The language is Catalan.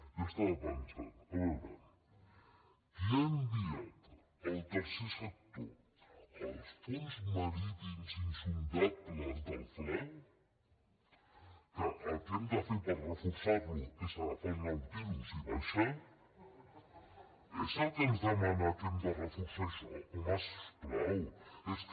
jo estava pensant a veure qui ha enviat el tercer sector als fons marítims insondables del fla que el que hem de fer per reforçarlo és agafar el nautilus i baixar reforçar això home si us plau és que